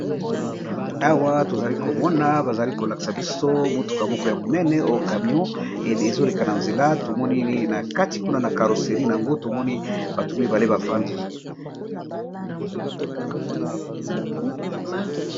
Awa to zali ko mona ba zali ko laksa biso motuka moko ya monene o camion ezo leka na nzela tovmoni na kati kuna na carosserie n'ango, to moni bato mibale ba fandi .